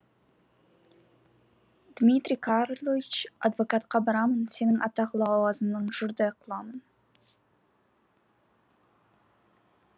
дмитрий карлыч адвокатқа барамын сенің атақ лауазымыңнан жұрдай қыламын